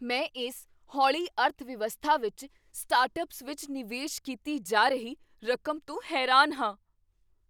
ਮੈਂ ਇਸ ਹੌਲੀ ਅਰਥਵਿਵਸਥਾ ਵਿੱਚ ਸਟਾਰਟਅੱਪਸ ਵਿੱਚ ਨਿਵੇਸ਼ ਕੀਤੀ ਜਾ ਰਹੀ ਰਕਮ ਤੋਂ ਹੈਰਾਨ ਹਾਂ।